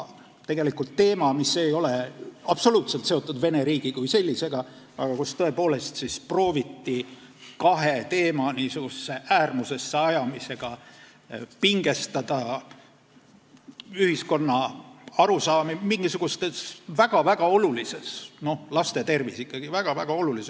Tegelikult ei olnud see absoluutselt seotud Vene riigi kui sellisega, aga kahe teema äärmusesse ajamisega prooviti pingestada ühiskonna arusaamasid mingisugusel väga-väga olulisel – laste tervis ikkagi!